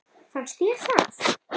Fannst þér það?